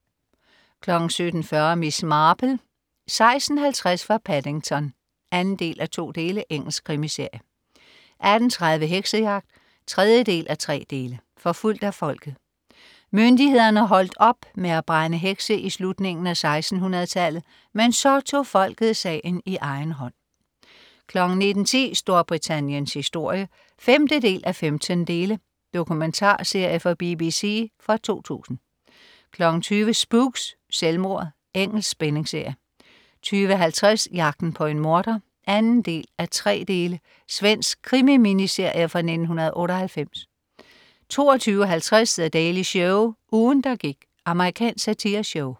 17.40 Miss Marple: 16.50 fra Paddington 2:2. Engelsk krimiserie 18.30 Heksejagt. 3:3. Forfulgt af folket. Myndighederne holdt op med at brænde hekse i slutningen af 1600tallet, men så tog folket sagen i egen hånd 19.10 Storbritanniens historie 5:15. Dokumentarserie fra BBC fra 2000 20.00 Spooks: Selvmordet. Engelsk spændingsserie 20.50 Jagten på en morder 2:3. Svensk krimi-miniserie fra 1998 22.50 The Daily Show. Ugen der gik. Amerikansk satireshow